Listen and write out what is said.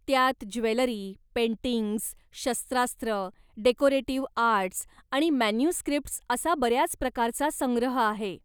त्यात jewellery, paintings, शस्त्रास्रं, decorative arts आणि मॅन्युस्क्रीप्टस् असा बऱ्याच प्रकारचा संग्रह आहे.